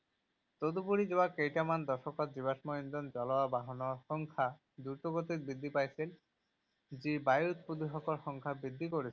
তদুপৰি, যোৱা কেইটামান দশকত জীৱাশ্ম ইন্ধন জ্বলোৱা বাহনৰ সংখ্যা দ্ৰুতগতিত বৃদ্ধি পাইছিল যি বায়ুত প্ৰদূষকৰ সংখ্যা বৃদ্ধি কৰিছিল।